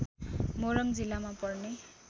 मोरङ जिल्लामा पर्ने